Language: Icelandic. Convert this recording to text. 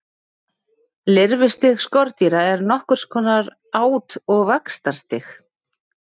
Lirfustig skordýra er nokkurs konar át- og vaxtarstig.